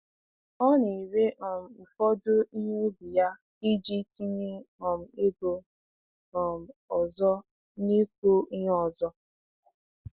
Ọ na-ere um ụfọdụ ihe ubi ya iji tinye um ego um ọzọ n’ịkụ ihe ọzọ.